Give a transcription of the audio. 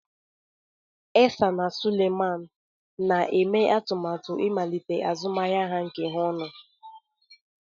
Isah na Suleiman na-eme atụmatụ ịmalite azụmahịa nke ha ọnụ.